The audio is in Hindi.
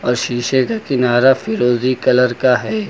और शीशे का किनारा फिरोजी कलर का है।